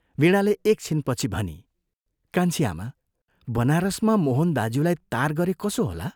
वीणाले एकछिनपछि भनी, "कान्छी आमा, बनारसमा मोहन दाज्यूलाई तार गरे कसो होला?